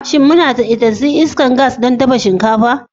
Shin muna da isassun iskar gas don dafa shinkafa?